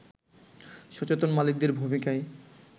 সচেতন মালিকদের ভূমিকায়